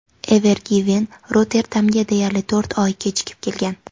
Ever Given Rotterdamga deyarli to‘rt oy kechikib kelgan.